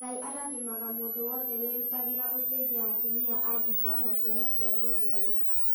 Ngai arathimaga mũndũ wothe wĩrutagĩra gũteithia atumia a ndigwa na ciana cia ngũriai